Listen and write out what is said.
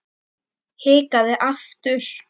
Hikaði aftur.